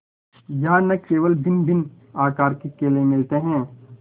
यहाँ न केवल भिन्नभिन्न आकार के केले मिलते हैं